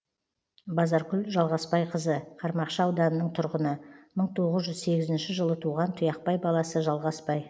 базаркүл жалғасбайқызы қармақшы ауданының тұрғыны мың тоғыз жүз сегізінші жылы туған тұяқбай баласы жалғасбай